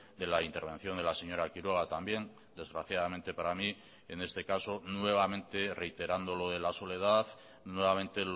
de la intervención de la señora quiroga también desgraciadamente para mí en este caso nuevamente reiterando lo de la soledad nuevamente